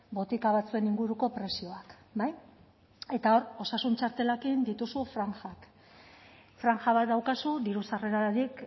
botika batzuen inguruko prezioak bai eta hor osasun txartelarekin dituzu franjak franja bat daukazu diru sarrerarik